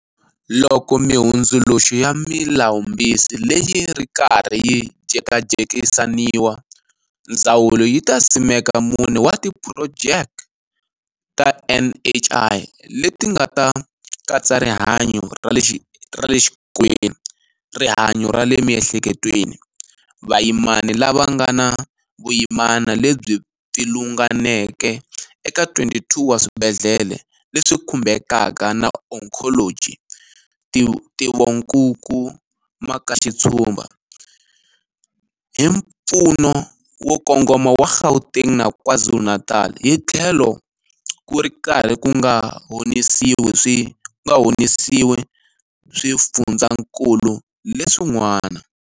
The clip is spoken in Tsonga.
Loko mihundzuluxo ya Milawumbisi leyi yi ri karhi yi jekajekisaniwa, ndzawulo yi ta simeka mune wa tiphuro jeke ta NHI leti ti nga ta katsa rihanyu ra le xikolweni, rihanyu ra le miehleketweni, vayimani lava nga na vuyimana lebyi pfilunganeke eka 22 wa swibedhlele leswi khumbeka ka na onkholoji, ntivonkuku makaxitshumba, hi mpfuno wo kongoma wa Gauteng na KwaZulu-Natal, hitlhelo ku ri karhi ku nga honisiwi swi fundzakulu leswin'wana.